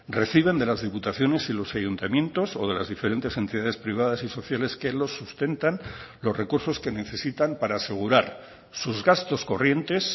reciben de las diputaciones y los ayuntamientos o de las diferentes entidades privadas y sociales que los sustentan los recursos que necesitan para asegurar sus gastos corrientes